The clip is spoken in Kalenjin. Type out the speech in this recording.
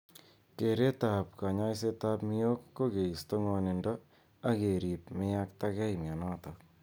Kereet ap �kanyoiset miyok ko keisto ng'onindo ak kerip meyaktagei mionotok.